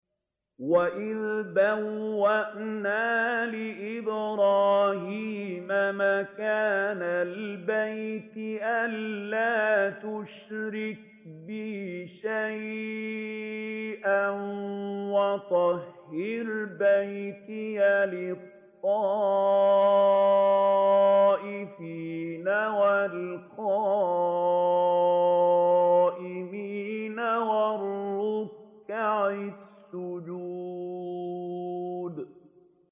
وَإِذْ بَوَّأْنَا لِإِبْرَاهِيمَ مَكَانَ الْبَيْتِ أَن لَّا تُشْرِكْ بِي شَيْئًا وَطَهِّرْ بَيْتِيَ لِلطَّائِفِينَ وَالْقَائِمِينَ وَالرُّكَّعِ السُّجُودِ